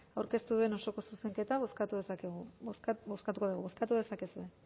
aurkeztu duen osoko zuzenketa bozkatuko dugu bozkatu dezakegu